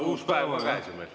Uus päev on käes ju meil.